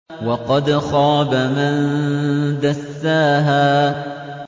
وَقَدْ خَابَ مَن دَسَّاهَا